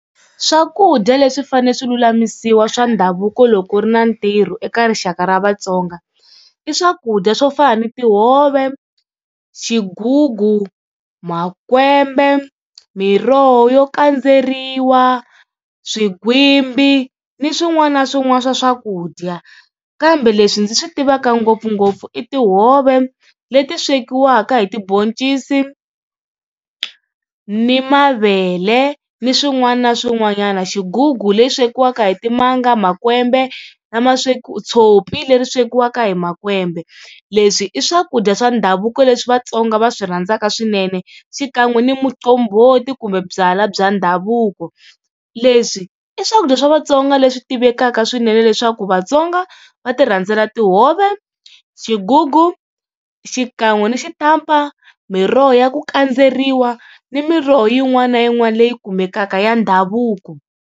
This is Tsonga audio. Swakudya leswi fane swi lulamisiwa swa ndhavuko loko ku ri na ntirho eka rixaka ra Vatsonga i swakudya swo fana na tihove, xigugu, makwembe, miroho yo kandzeriwa, swigwimbi ni swin'wana na swin'wana swa swakudya. Kambe leswi ndzi swi tivaka ngopfungopfu i tihove leti swekiwaka hi tiboncisi ni mavele ni swin'wana na swin'wanyana, xigugu lexi swekiwaka hi timanga, makwembe lama sweka tshopi leri swekiwaka hi makwembe. Leswi i swakudya swa ndhavuko leswi Vatsonga va swi rhandzaka swinene xikan'we ni muqombhoti kumbe byala bya ndhavuko. Leswi i swakudya swa Vatsonga leswi tivekaka swinene leswaku Vatsonga va ti rhandzela tihove, xigugu xikan'we ni xitampa, miroho ya ku kandzeriwa ni miroho yin'wana na yin'wana leyi kumekaka ya ndhavuko.